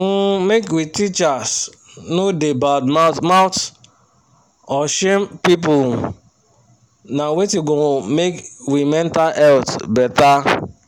um make we teachers no da bad mouth mouth or shame people um na wetin go um make we mental health better